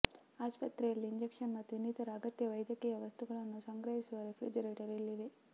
ಆಸ್ಪತ್ರೆಯಲ್ಲಿ ಇಂಜೆಕ್ಷನ್ ಮತ್ತು ಇನ್ನಿತರ ಅಗತ್ಯ ವೈದ್ಯಕೀಯ ವಸ್ತುಗಳನ್ನು ಸಂಗ್ರಹಿಸುವ ರೆಫ್ರಿಜರೇಟರ್ ಇಲ್ಲಿವೆ